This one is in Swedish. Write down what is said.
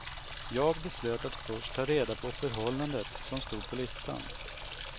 Jag beslöt att först ta reda på förhållandet som stod på listan.